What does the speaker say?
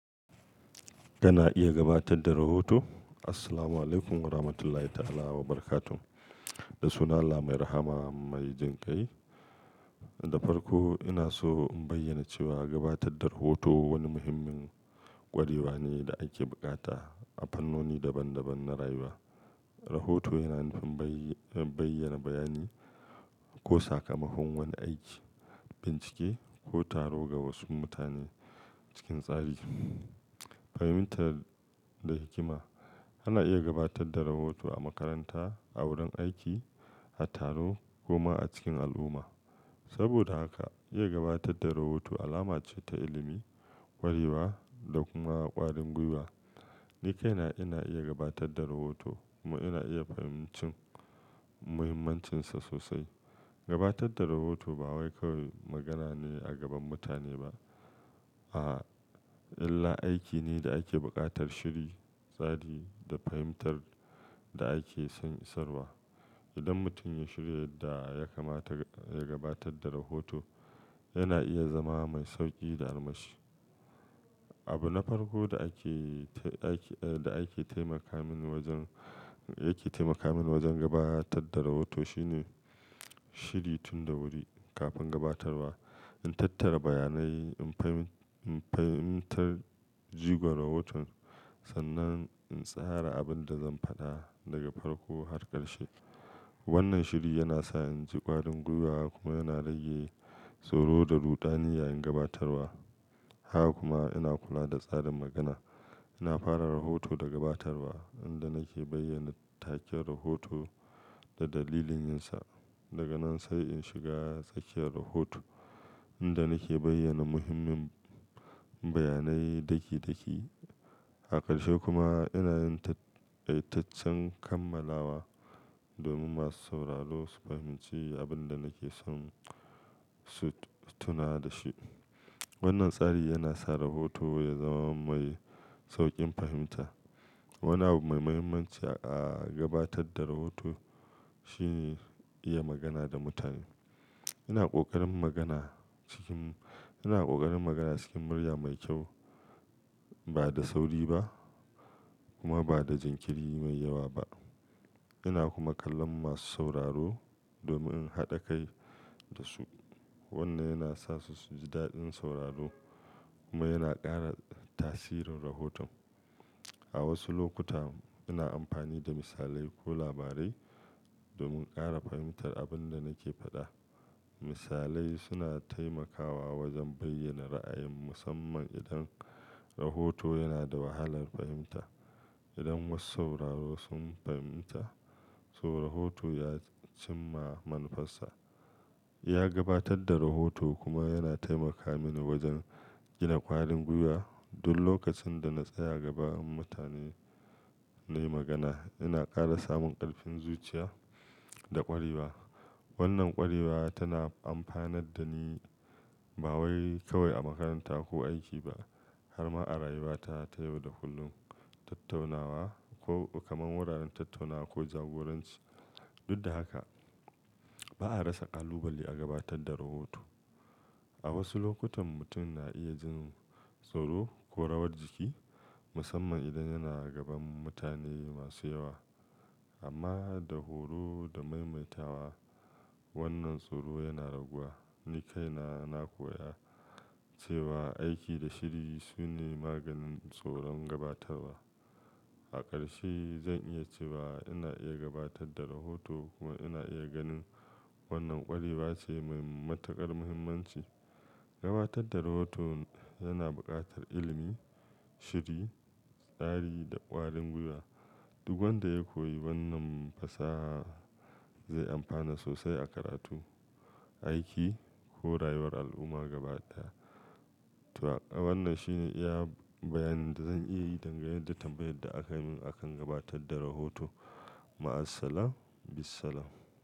Kana iya gabatar da rahoto? Assalamualaikum Warahmatullahi Ta'ala Wabarakatuh. Da sunan Allah Mai Rahama Mai Jinkai. Da farko ina so in bayyana cewa gabatar da rahoto wani muhimmin ƙwarewa ne da ake buƙata a fannoni daban-daban na rayuwa. Rahoto yana nufin bayy bayyana bayani ko sakamakon wani aiki, bincike ko taro ga wasu mutane cikin tsari, fahimtar da hikima. Ana iya gabatar da rahoto a makaranta, a wurin aiki, a taro koma a cikin al'umma. Saboda haka iya gabatar da rahoto alama ce ta ilimi, ƙwarewa da kuma ƙwarin gwiwa. Ni kaina ina iya gabatar da rahoto kuma ina iya fahimcin muhimmancinsa sosai. Gabatar da rahoto ba wai kawai magana ne a gaban mutane ba, a illa aiki ne da ake buƙatar shiri, tsari da fahimtar da ake son i sarwa. Idan mutum ya shirya yadda ya kamata ya gabatar da rahoto, yana iya zama mai sauƙi da armashi. Abu na farko da ake taimaka mini wajen gabatar da rahoto shine shiri tun da wuri kafin gabatarwa. In tattara bayanai, in fahimtar jigon rahoton sannan in tsara abin da zan faɗa daga farko har ƙarshe. Wannan shiri yana sa in ji ƙwarin gwiwa kuma yana rage tsoro da rudani yayin gabatarwa. Haka kuma ina kula da tsarin magana. Ina fara rahoto da gabatarwa inda nake bayyana taken rahoto da dalilin yinsa. Daga nan sai in shiga tsakiyar rahoto inda nake bayyana muhimmin bayanai daki-daki. A ƙarshe kuma ina yin takaitaccen kammalawa domin masu sauraro su fahimci abin da nake son su tuna da shi. Wannan tsari yana sa rahoto ya zama mai sauƙin fahimta. Wani abu mai muhimmanci a gabatar da rahoto shine iya magana da mutane. Ina ƙoƙarin magana cikin murya mai kyau, ba da sauri ba kuma ba da jinkiri mai yawa ba. Ina kuma kallon masu sauraro domin in haɗa kai da su. Wannan yana sa su ji daɗin sauraro kuma yana ƙara tasirin rahoton. A wasu lokuta ina amfani da misalai ko labarai domin ƙara fahimtar abin da nake faɗa. Misalai suna taimakawa wajen bayyana ra'ayin musamman idan rahoto yana da wahalar fahimta. Idan masu sauraro sun fahimta, to rahoto ya cimma manufarsa. Iya gabatar da rahoto kuma yana taimaka mini wajen gina ƙwarin gwiwa. Duk lokacin da na tsaya gaban mutane nai magana, ina ƙara samun ƙarfin zuciya da ƙwarewa. Wannan ƙwarewa tana amfanar da ni ba wai kawai a makaranta ko aiki ba harma a rayuwa ta yau da kullum tattaunawa, kamar wuraren tattaunawa ko jagoranci. Duk da haka ba a rasa ƙalubale a gabatar da rahoto. A wasu lokutan mutum na iya jin tsoro ko rawar jiki musamman idan yana gaban mutane masu yawa. Amma da horo da maimaita wa wannan tsoro yana raguwa. Ni kaina na koya cewa aiki da shiri sune maganin tsoron gabatarwa. A ƙarshe zan iya cewa ina iya gabatar da rahoto kuma ina iya ganin wannan ƙwarewa ce mai matuƙar muhimmanci. Gabatar da rahoto yana buƙatar ilimi, shiri, tsari da ƙwarin gwiwa. Duk wanda ya koyi wannan fasaha zai amfana sosai a karatu, aiki ko rayuwar al'umma gaba ɗaya. Wannan shine iya bayanin da zan iya yi dangane da tambayar da aka yi min akan gabatar da rahoto. Ma assalaam bisalaam.